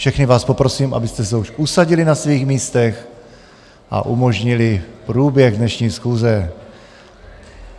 Všechny vás poprosím, abyste se už usadili na svých místech a umožnili průběh dnešní schůze.